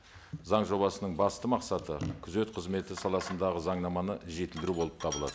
заң жобасының басты мақсаты күзет қызметі саласындағы заңнаманы жетілдіру болып табылады